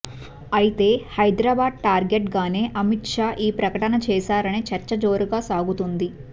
అయితే హైదరాబాద్ టార్గెట్ గానే అమిత్ షా ఈ ప్రకటన చేశారనే చర్చ జోరుగా సాగుతుంది